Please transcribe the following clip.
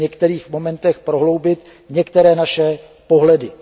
v některých momentech prohloubit některé naše pohledy.